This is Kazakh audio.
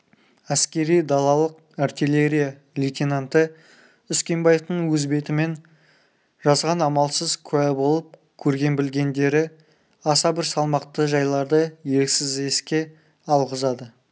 әскери далалық артиллерия лейтенанты үскенбаевтың өз бетімен жазған амалсыз куә болып көрген-білгендері аса бір салмақты жайларды еріксіз еске алғызады